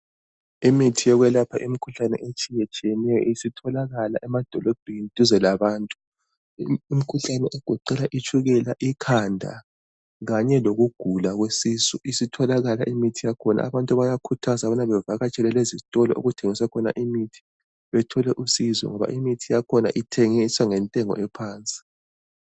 Imithi yokwelapha imkhuhlane etshiyetshiyeneyo isitholakala emadolobheni duze labantu. Imkhuhlane egoqela itshukela, ikhanda kanye lokugula kwesisu. Isitholakala imithi yakhona. Abantu bayakhuthazwa ukubana bevakatshele lezizitolo okuthengiswa khona imithi bethole usizo ngoba imithi yakhona ithengiswa ngentengo ephansi.